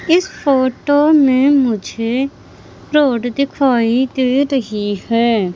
इस फोटो में मुझे रोड दिखाई दे रही है।